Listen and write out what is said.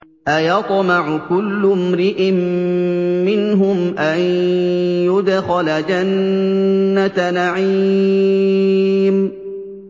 أَيَطْمَعُ كُلُّ امْرِئٍ مِّنْهُمْ أَن يُدْخَلَ جَنَّةَ نَعِيمٍ